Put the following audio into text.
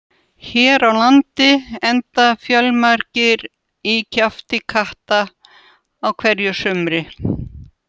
Hér á landi enda fjölmargir í kjafti katta á hverju sumri.